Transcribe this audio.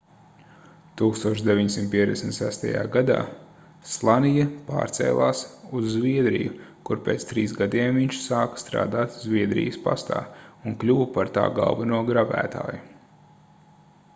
1956. gadā slania pārcēlās uz zviedriju kur pēc trīs gadiem viņš sāka strādāt zviedrijas pastā un kļuva par tā galveno gravētāju